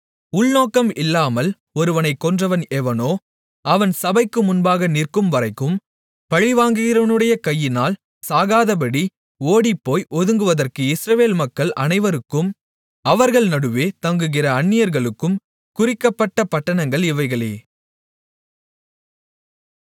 உள்நோக்கம் இல்லாமல் ஒருவனைக் கொன்றவன் எவனோ அவன் சபைக்கு முன்பாக நிற்கும்வரைக்கும் பழிவாங்குகிறவனுடைய கையினால் சாகாதபடி ஓடிப்போய் ஒதுங்குவதற்கு இஸ்ரவேல் மக்கள் அனைவருக்கும் அவர்கள் நடுவே தங்குகிற அந்நியர்களுக்கும் குறிக்கப்பட்ட பட்டணங்கள் இவைகளே